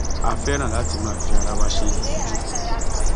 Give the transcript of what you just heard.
a fẹràn láti máa fi ara wa ṣe yẹyẹ jù